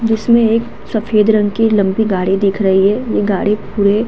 जिसमें एक सफ़ेद रंग की लम्बी गाड़ी दिख रही है ये गाड़ी पूरे --